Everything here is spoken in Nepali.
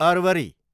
अरवरी